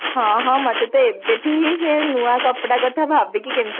ହଁ ହଁ ମତେ ତ ଏବେଠୁ ହିଁ ସେ ନୂଆ କପଡା କଥା ଭାବିକି କେମତି